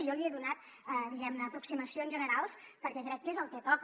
jo li he donat diguem ne aproximacions generals perquè crec que és el que toca